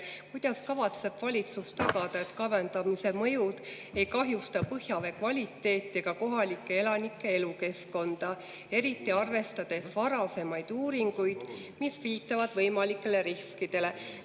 Kuidas kavatseb valitsus tagada, et kaevandamise mõjud ei kahjusta põhjavee kvaliteeti ega kohalike elanike elukeskkonda, eriti arvestades varasemaid uuringuid, mis viitavad võimalikele riskidele?